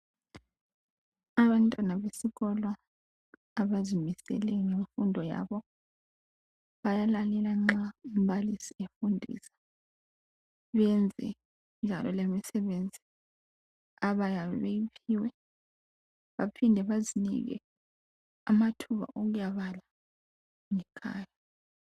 Abantwana besikolo abazimisele ngemfundo, bayalalela umbalisi nxa efundisa, bayayenza imisebenzi abayiphiwayo. Baphinde bazinike amathuba okuyabala.